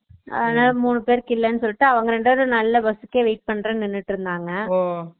அதுனால மூணு பேருக்கு இல்லன்னு சொல்லிட்டு அவுங்க ரெண்டு பேர் நல்ல பஸ்க்கே wait பண்றன்னு நின்னுட்டு இருந்தாங்க Noise